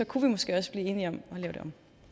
kunne vi måske også blive enige om at lave det